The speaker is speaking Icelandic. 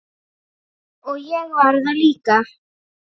Og ég var það líka.